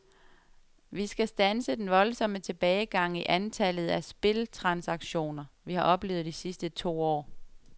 Vi skal standse den voldsomme tilbagegang i antallet af spiltransaktioner, vi har oplevet de sidste to år.